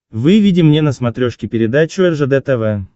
выведи мне на смотрешке передачу ржд тв